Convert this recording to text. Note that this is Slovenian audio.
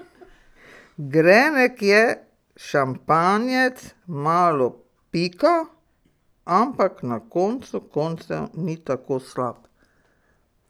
Grenek je, šampanjec, malo pika, ampak na koncu koncev ni tako slab.